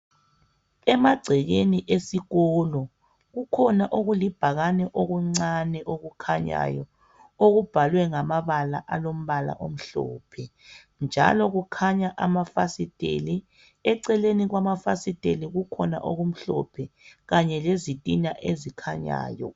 Emagcekeni esikolo kukhona okulibhakane okuncane okukhanyayo okubhalwe ngamabala alombala omhlophe njalo kukhanya amafasiteli eceleni kwamafasiteli kukhona okumhlophe kanye lezitina ezikhanyayo.